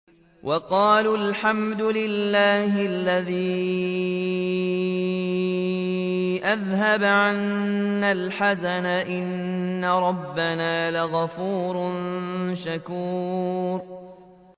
وَقَالُوا الْحَمْدُ لِلَّهِ الَّذِي أَذْهَبَ عَنَّا الْحَزَنَ ۖ إِنَّ رَبَّنَا لَغَفُورٌ شَكُورٌ